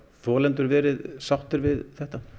þolendur verið sáttir við þetta